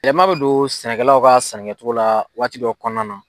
Wɛlɛman bɛ don sɛnɛkɛlaw ka sɛnɛ kɛcogo la waati dow kɔnɔna nɔ.